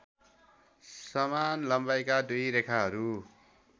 समान लम्बाइका दुई रेखाहरू